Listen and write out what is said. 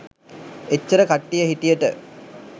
එච්චර කට්ටිය හිටියට